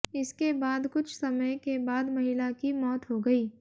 इसके बाद कुछ समय के बाद महिला की मौत हो गई